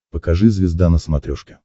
покажи звезда на смотрешке